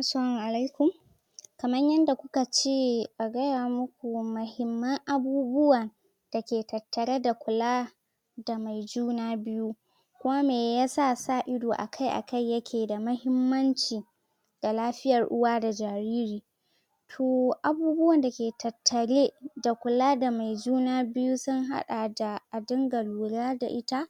Assalamu alaikum kaman yanda kuka ce a gaya muku muhimman abubuwa da ke tattare da mai kula da mai juna biyu kuma mai ya sa, sa ido akai akai ya ke da muhimmanci da lafiyar uwa da jariri ko abubuwan da ke tattare da kula da mai juna biyu sun hada da a dinga lura da ita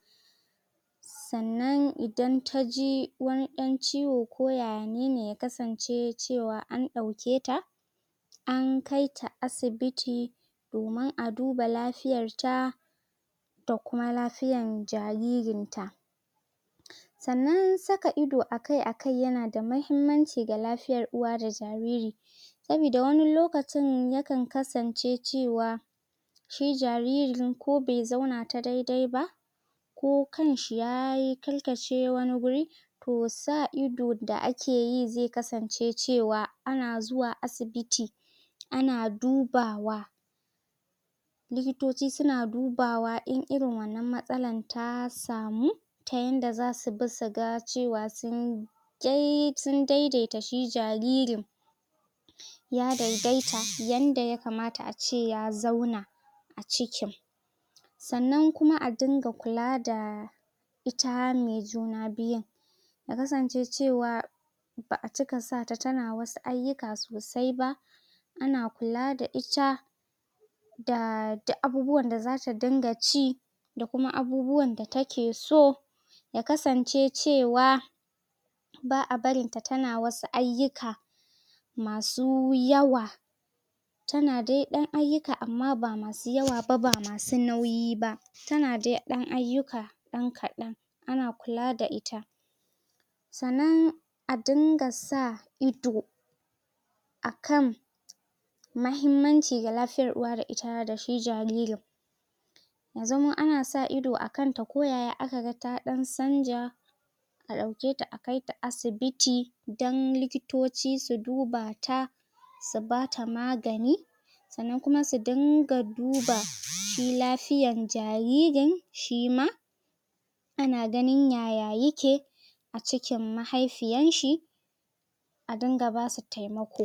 sannan, idan ta ji wani dan ciwo ko yaya ne ne ya kasance cewa an dauke ta an kai ta asibiti domin a duba lafiyar ta da kuma lafiyan jaririn ta sannan saka ido akai akai ya na da muhimmanci ga lafiyar uwa da jariri sobida wani lokacin ya kan kasance cewa shi jariri din ko bai zauna ta daidai ba ko kan shi ya yi karkace wani guri toh sa idon da ake yi zai kasance cewa ana zuwa asibiti ana dubawa likitoci su na dubawa in irin wannan masallan ta likitoci su na dubawa in irin wannan matsalla ta samu ta inda za su bi suga cewa sun daidaita shi jaririn ya daidaita yanda ya kamata a ce ya zauna cikin sannan kuma a dinga kula da ita mai juna biyun ya kasance cewa ba'a cika sa ta ta na wasu ayuka sosai ba ana kula da ita da duk abubuwan da za ta dinga ci da kuma abubuwan da ta ke so ya kasance cewa ba'a barin ta ta na wasu ayyuka masu yawa ta na dai dan ayyuka amma ba masu yawa ba ba masu nauyi ba ta na dai dan ayuka dan kadan ana kula da ita sannan a din ga sa ido akan mahimmanci ga lafiyar uwa da ita da shi jariri ya zama ana sa ido a kan ta ko yaya aka ga ta canja a dauke ta a kai ta asibiti dan dan likitoci su duba ta su ba ta magani sannan kuma su din ga duba shi lafiyan jaririn shi ma ana ganin yaya yake cikin mahaifiyan shi a din ga ba su taimako